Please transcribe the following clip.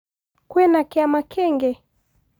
kwĩna kĩama kĩngĩ